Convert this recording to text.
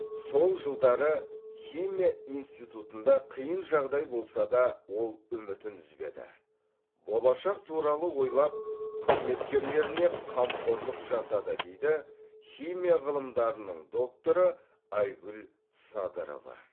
сол жылдары химия институтсында қиын жағдай болса да ол үмітін үзбеді болашақ туралы ойлап қызметкерлеріне қамқорлық жасады дейді химия ғылымдарының докторы айгүл садырова